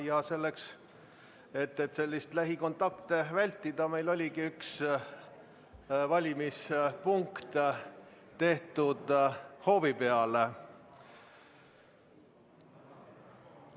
Ja selleks, et lähikontakte vältida, meil oligi üks valimispunkt tehtud hoovi peale.